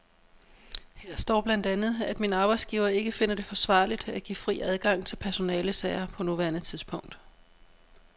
Her står blandt andet, at min arbejdsgiver ikke finder det forsvarligt at give fri adgang til personalesager på nuværende tidspunkt.